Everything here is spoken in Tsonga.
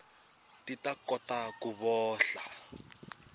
ti ta kota ku vohla